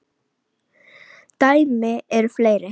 Dæmi eru fleiri.